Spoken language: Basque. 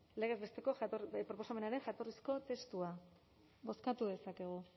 legez besteko proposamenaren jatorrizko testua bozkatu dezakegu